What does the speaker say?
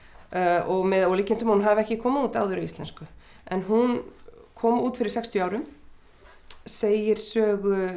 og með ólíkindum að hún hafi ekki komið út áður á íslensku en hún kom út fyrir sextíu árum segir sögu